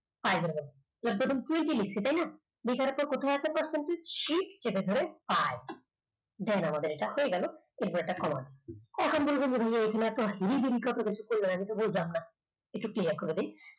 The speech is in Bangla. এবার প্রথমে twenty লিখেছি তাই না? তো কোথায় আছে percent shift চেপে ধরে i দেখুন এটা আমাদের হয়ে গেল এবার একটা কমা। আমি তো বুঝলাম না একটু clear করে দিই